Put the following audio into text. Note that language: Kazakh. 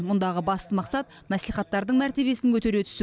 мұндағы басты мақсат мәслихаттардың мәртебесін көтере түсу